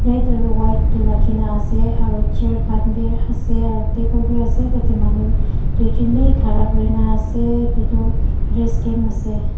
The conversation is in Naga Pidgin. white tuh rakhina ase aro chair khan bhi ase aro table bhi ase tatey manu duijun bhi khara kurena ase etutu rest camp ase.